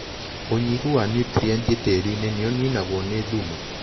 ũnyihu wa nutrienti tĩriinĩ nĩũninagũo nĩ thumu.